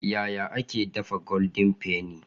Yaya ake dafa goldin fenny?